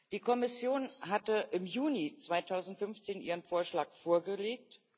Die Kommission hatte im Juni 2015 ihren Vorschlag vorgelegt.